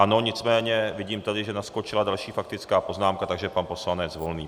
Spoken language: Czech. Ano, nicméně vidím tady, že naskočila další faktická poznámka, takže pan poslanec Volný.